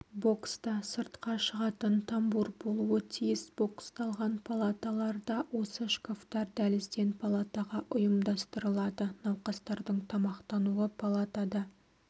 бокста сыртқа шығатын тамбур болуы тиіс боксталған палаталарда осы шкафтар дәлізден палатаға ұйымдастырылады науқастардың тамақтануы палатада